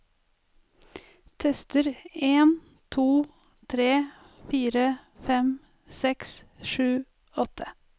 Tester en to tre fire fem seks sju åtte